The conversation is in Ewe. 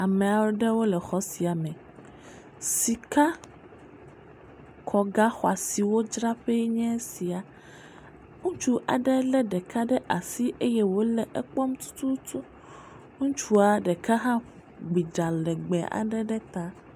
Ame aɖewo le xɔ sia me. Sikakɔgaxɔasiwo dzraƒee enye sia. Ŋutsu aɖe lé ɖeka ɖe asi eye wòle ekpɔm tututu. Ŋutsu ɖeka ɖe hã gbi ɖa legbeee aɖe ɖe ta.